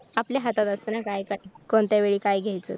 आपल्या हातात असत ना कोणत्या वेळी काय घ्यायचं